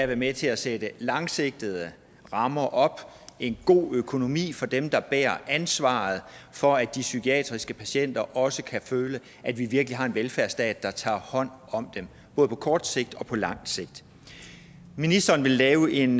være med til at sætte langsigtede rammer op og en god økonomi for dem der bærer ansvaret for at de psykiatriske patienter også kan føle at vi virkelig har en velfærdsstat der tager hånd om dem både på kort sigt og på lang sigt ministeren vil lave en